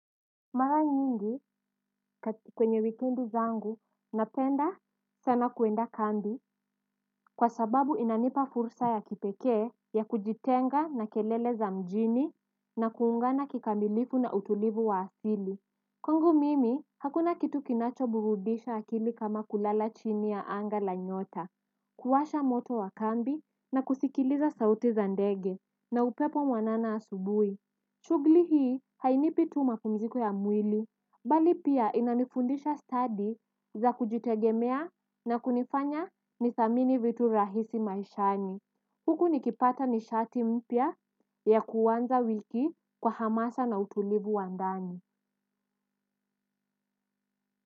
Mara nyingi kwenye wikendi zangu napenda sana kwenda kambi kwa sababu inanipa fursa ya kipekee ya kujitenga na kelele za mjini na kuungana kikamilifu na utulivu wa asili. Kwangu mimi hakuna kitu kinacho burudisha akili kama kulala chini ya anga la nyota. Kuwasha moto wa kambi na kusikiliza sauti za ndege na upepo mwanana asubuhi shughuli hii hainipi tu mapumziko ya mwili bali pia inanifundisha stadi za kujitegemea na kunifanya nithamini vitu rahisi maishani. Huku nikipata nishati mpya yakuanza wiki kwa hamasa na utulivu wa ndani.